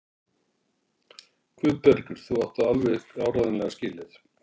Guðbergur, þú átt það alveg áreiðanlega skilið.